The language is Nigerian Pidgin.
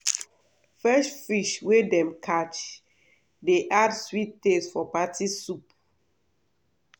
fresh fish wey dem catch dey add sweet taste for party soup.